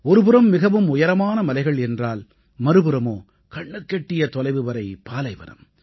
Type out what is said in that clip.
ஒருபுறம் மிகவும் உயரமான மலைகள் என்றால் மறுபுறமோ கண்ணுக்கெட்டிய தொலைவு வரை பாலைவனம்